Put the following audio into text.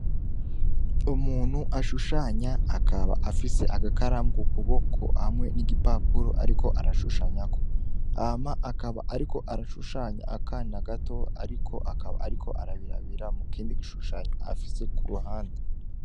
Umuntu ashushanya akaba afise agakarambwa ukuboko hamwe n'igipapuro, ariko arashushanyako ama akaba, ariko arashushanya akana gato, ariko akaba, ariko arabirabira mu kindi gishushanyo afise ku ruhande.